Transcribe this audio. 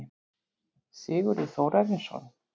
Sigurður Þórarinsson.